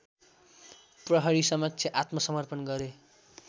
प्रहरीसमक्ष आत्मसमर्पण गरे